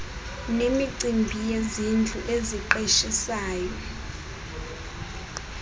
nemicimbi yezindlu eziqeshisayo